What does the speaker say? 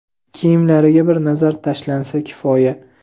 kiyimlariga bir nazar tashlansa kifoya..